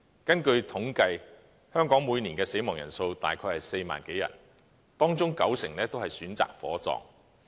根據統計，香港每年的死亡人數大約為4萬多人，當中九成都是選擇火葬。